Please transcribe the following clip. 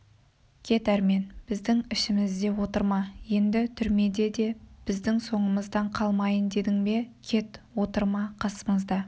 кет әрмен біздің ішімізде отырма енді түрмеде де біздің соңымыздан қалмайын дедің бе кет отырма қасымызда